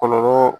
Kɔlɔlɔ